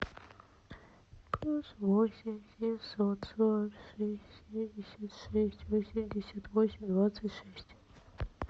плюс восемь семьсот сорок шесть семьдесят шесть восемьдесят восемь двадцать шесть